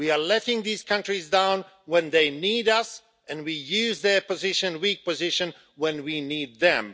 We are letting these countries down when they need us, and we use their weak position when we need them.